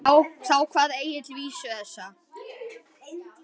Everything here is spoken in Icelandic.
Þá kvað Egill vísu þessa